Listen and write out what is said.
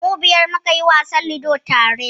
Mu biyar muka yi wasan Ludon tare.